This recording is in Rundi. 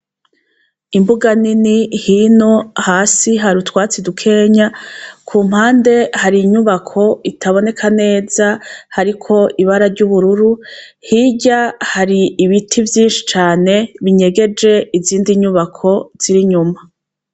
Imbuga nini hino, hasi hari utwatsi dukenya, ku mpande hari inyubako itaboneka neza hariko ibara ry'ubururu ,hirya hari ibiti vyinshi cane binyegeje izindi nyubako z'inyuma.